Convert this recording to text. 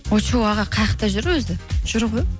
очу аға қаяқта жүр өзі жүр ғой